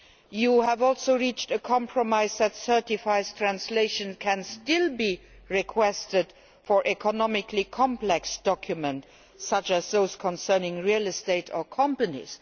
You have also reached a compromise that certified translations can still be requested for economically complex documents such as those concerning real estate or companies.